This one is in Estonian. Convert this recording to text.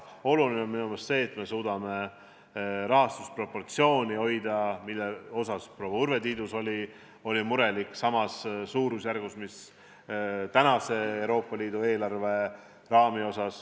Oluline on minu meelest see, et me suudaksime hoida rahastuse proportsiooni – mille suhtes proua Urve Tiidus oli murelik – samas suurusjärgus, mis see on tänases Euroopa Liidu eelarves.